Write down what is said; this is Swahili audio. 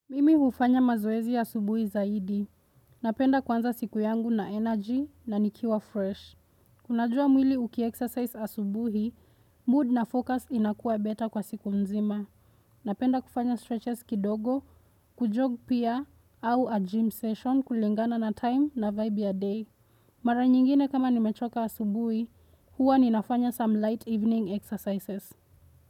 Mimi hufanya mazoezi ya subuhi zaidi. Napenda kwanza siku yangu na energy na nikiwa fresh. Kunajua mwili ukiexercise asubuhi, mood na focus inakua beta kwa siku mzima. Napenda kufanya stretches kidogo, kujog pia, au a gym session kulingana na time na vibe ya day. Mara nyingine kama nimechoka asubuhi, huwa ninafanya some light evening exercises.